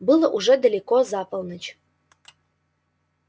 было уже далеко за полночь